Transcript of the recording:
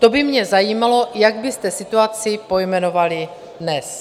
To by mě zajímalo, jak byste situaci pojmenovali dnes.